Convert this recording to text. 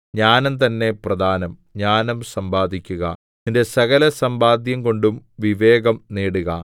ജ്ഞാനംതന്നെ പ്രധാനം ജ്ഞാനം സമ്പാദിക്കുക നിന്റെ സകലസമ്പാദ്യം കൊണ്ടും വിവേകം നേടുക